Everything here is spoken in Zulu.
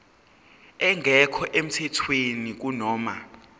engekho emthethweni kunoma